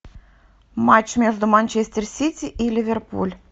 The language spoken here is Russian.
матч между манчестер сити и ливерпуль